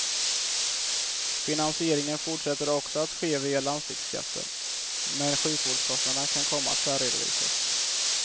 Finansieringen fortsätter också att ske via landstingsskatten, men sjukvårdskostnaderna kan komma att särredovisas.